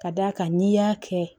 Ka d'a kan n'i y'a kɛ